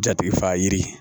Jatigi faga yiri